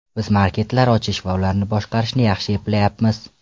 Biz marketlar ochish va ularni boshqarishni yaxshi eplayapmiz.